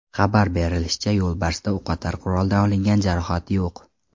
Xabar berilishicha, yo‘lbarsda o‘qotar quroldan olingan jarohat yo‘q.